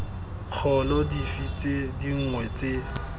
kgolo dife tse dingwe tse